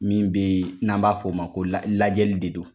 Min be yen n'an b'a f'o ma ko lajɛli de don.